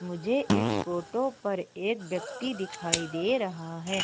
मुझे इस फोटो पर एक व्यक्ति दिखाई दे रहा है।